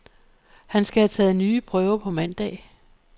Han skal have taget nye prøver på mandag.